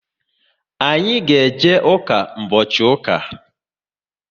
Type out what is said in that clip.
Anyị ga eje ụka mbochi ụka